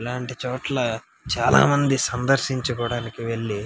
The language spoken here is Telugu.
ఇల్లాంటి చోట్ల చాలా మంది సందర్శింకోవడానికి వెళ్లి --